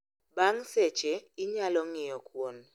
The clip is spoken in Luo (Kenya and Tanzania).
Bang' seche, inyalo ng'iyo kuon